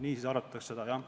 Nii siis arvutatakse seda, jah.